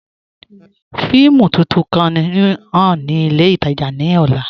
Fíìmù tuntun kan ǹ ḥàn ni ilẹ̀ itaajà ni ọ̀là